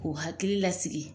K'u hakili lasigi